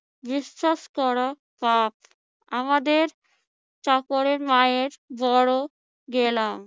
বিশ্বাস করা পাপ। আমাদের চাকরের মায়ের বড় গেলাম।